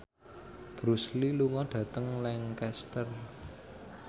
Bruce Lee lunga dhateng Lancaster